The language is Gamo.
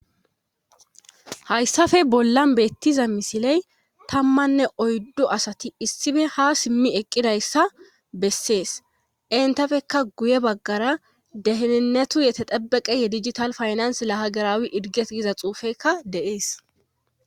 Hayssafe bollan beettiza misiley tammanne oyddu asati issife ha simmi eqqidayssa bessees entafekka guye baggara dehenennetu yete dabeqehe dijital faynans lahagaraawi irges giza xuufekka deees.